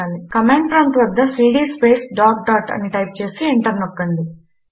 command prompt వద్ద CD space dot dot అని type చేసి ఎంటర్ నొక్కండి